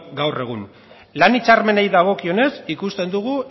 gaur egun lan hitzarmenei dagokionez ikusten dugu